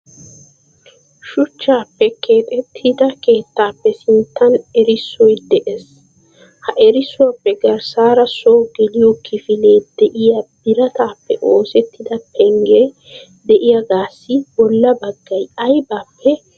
Shuchchappe keexxetida keettappe sinttan erissoy de'ees. Ha erissuwappe garssaara so geliyo kifile de'iyaa biratappe oosettida pengge de'iyaagassi bolla baggay aybbippe oosertide?